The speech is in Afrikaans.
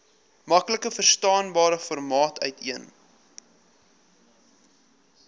maklikverstaanbare formaat uiteen